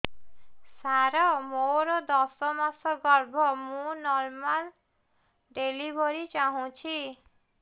ସାର ମୋର ଦଶ ମାସ ଗର୍ଭ ମୁ ନର୍ମାଲ ଡେଲିଭରୀ ଚାହୁଁଛି